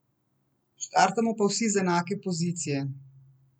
Startamo pa vsi z enake pozicije.